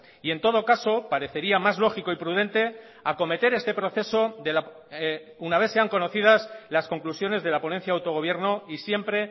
y en todo caso parecería más lógico y prudente acometer este proceso una vez sean conocidas las conclusiones de la ponencia de autogobierno y siempre